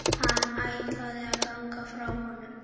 Hann ætlaði að ganga frá honum.